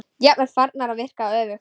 Jafnvel farnar að virka öfugt.